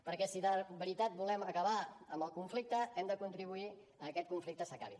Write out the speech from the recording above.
perquè si de veritat volem acabar amb el conflicte hem de contribuir a que aquest conflicte s’acabi